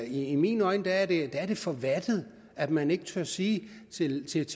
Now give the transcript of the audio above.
i mine øjne er det er det for vattet at man ikke tør sige til sit